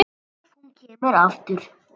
Ef hún kemur aftur.